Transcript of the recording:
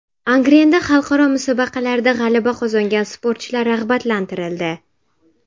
Angrenda xalqaro musobaqalarda g‘alaba qozongan sportchilar rag‘batlantirildi.